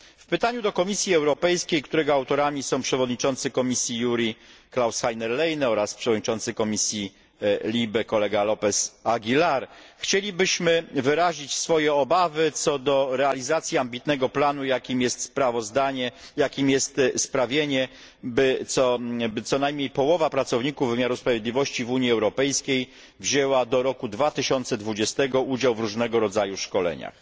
W pytaniu do Komisji Europejskiej, którego autorami są przewodniczący komisji JURI Klaus Heiner Lehne oraz przewodniczący komisji LIBE López Aguilar, chcielibyśmy wyrazić swoje obawy co do realizacji ambitnego planu, jakim jest sprawienie, by co najmniej połowa pracowników wymiaru sprawiedliwości w Unii Europejskiej wzięła do roku 2020 udział w różnego rodzaju szkoleniach.